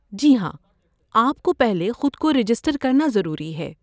جی ہاں، آپ کو پہلے خود کو رجسٹر کرنا ضروری ہے۔